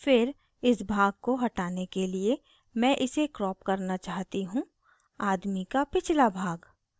फिर इस भाग को हटाने के लिए मैं इसे crop करना चाहती हूँआदमी का पिछला भाग